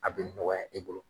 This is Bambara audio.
A bɛ nɔgɔya i bolo.